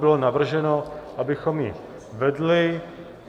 Bylo navrženo, abychom ji vedli.